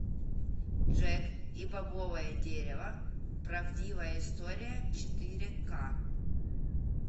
джек и бобовое дерево правдивая история четыре к